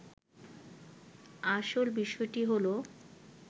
আসল বিষয়টি হলো